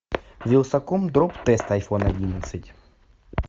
вилсаком дроп тест айфон одиннадцать